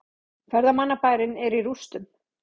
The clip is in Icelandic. Ferðamannabærinn er í rústum